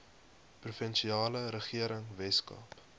provinsiale regering weskaap